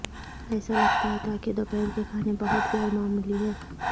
ایسا لگتا ہے تاکہ دوپہر کے کھانے بہت غیر معمولی ہے